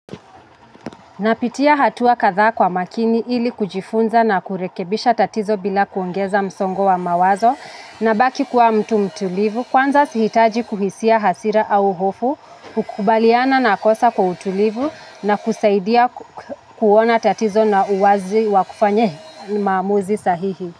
Napitia hatua kadha kwa makini ili kujifunza na kurekebisha tatizo bila kuongeza msongo wa mawazo na baki kuwa mtu mtulivu, kwanza sihitaji kuhisia hasira au hofu, kukubaliana na kosa kwa utulivu na kusaidia kuona tatizo na uwazi wakufanya maamuzi sahihi.